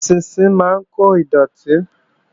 Eṣinṣin máa ń kó dọ̀tí